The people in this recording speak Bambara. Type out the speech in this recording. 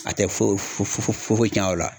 A tɛ fo fu fu fu fu fu tiɲa o la.